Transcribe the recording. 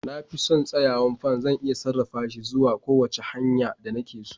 Na fi son tsayawar fan, zan iya sarrafa shi zuwa kowace hanya da nake so.